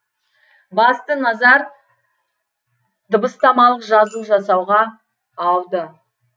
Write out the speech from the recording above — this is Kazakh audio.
басты назар дыбыстамалық жазу жасауға ауды